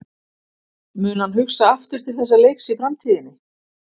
Mun hann hugsa aftur til þessa leiks í framtíðinni?